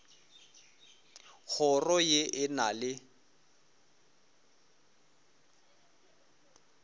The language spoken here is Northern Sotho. kgoro ye e na le